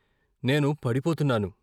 నేను పడిపోతున్నాను....